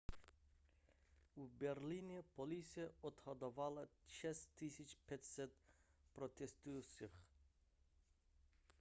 v berlíně policie odhadovala 6 500 protestujících